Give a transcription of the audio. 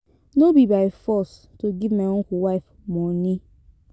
No be by force to give my uncle wife money.